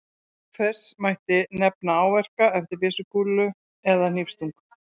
Auk þess mætti nefna áverka eftir byssukúlu eða hnífsstungu.